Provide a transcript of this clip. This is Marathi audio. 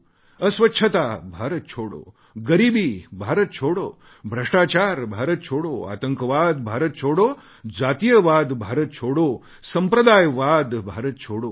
अस्वच्छता भारत छोडो गरीबी भारत छोडो भ्रष्टाचार भारत छोडो आतंकवाद भारत छोडो जातीयवाद भारत छोडो संप्रदायवाद भारत छोडो